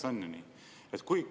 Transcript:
Põhimõtteliselt on ju nii.